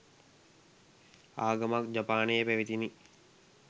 ආගමක් ජපානයේ පැවතිණි.